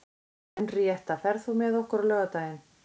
Henríetta, ferð þú með okkur á laugardaginn?